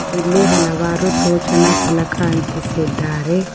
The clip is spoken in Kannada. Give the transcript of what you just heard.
ಇಲ್ಲಿ ಹಲವಾರು ಸೂಚನ ಫಲಕ ಅಂಟಿಸಿದ್ದಾರೆ.